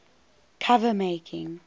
cover making